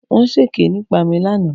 Wọ̀n sèké nípa mi lánàá.